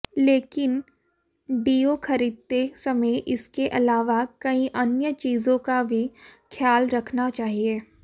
लेकिन डिओ खरीदते समय इसके अलावा कई अन्य चीजों का भी ख्याल रखना चाहिए